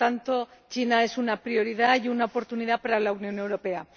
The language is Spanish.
Por lo tanto, China es una prioridad y una oportunidad para la Unión Europea.